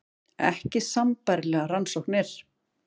Ekki sambærilegar rannsóknir